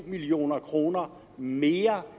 million kroner mere